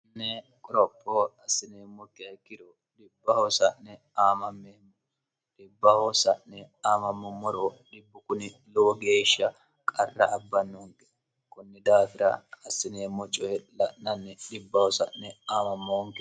ane qorophoo assineemmo g kiro dibb hoosa'n aamammeemmo dibb hoosa'ne aamammummoro dhibbu kuni lowo geeshsha qarra abbannunge kunni daafira assineemmo coye la'nanni dhibb hoos'ne aamammoonge